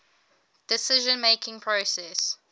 decision making process